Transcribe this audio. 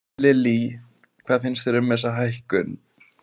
Lillý: Hvað finnst þér um þessa hækkun?